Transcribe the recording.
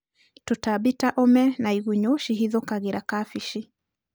Tũtambi ta ũme na igunyũ cihithokagĩra kabeci.